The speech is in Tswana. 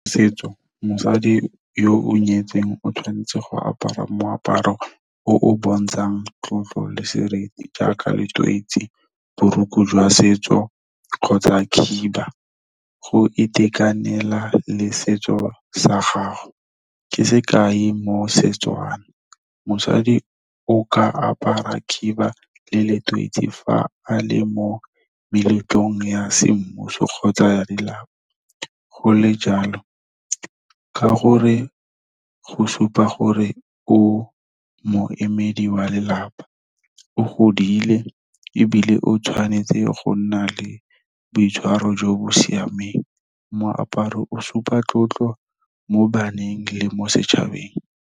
Setso, mosadi yo o nyetsweng o tshwanetse go apara moaparo o o bontshang tlotlo le seriti jaaka letoisi, borokgo jwa setso kgotsa khiba. Go itekanela le setso sa gago ke sekai mo Setswana, mosadi o ka apara khiba le letoisi fa a le mo meletlong ya semmuso kgotsa lelapa. Go le jalo, ka gore go supa gore o moemedi wa lelapa, o godile ebile o tshwanetse go nna le boitshwaro jo bo siameng. Moaparo o supa tlotlo mo baneng le mo setšhabeng.